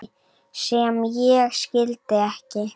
sem ég skildi ekki